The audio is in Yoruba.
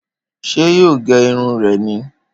Ṣé yóò gé irun rẹ ni